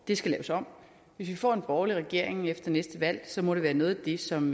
det skal laves om hvis vi får en borgerlig regering efter næste valg må det være noget af det som